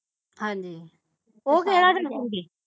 ਹਾਂਜੀ